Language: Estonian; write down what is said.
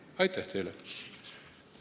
Aitäh teile!